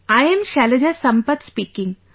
I am Shailaja Sampath speaking